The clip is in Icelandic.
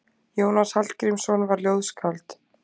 Jónas Hallgrímsson var ljóðskáld.